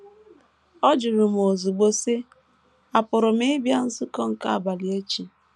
Ọ jụrụ ozugbo, sị: “ Àpụrụ m ịbịa nzukọ nke abalị echi?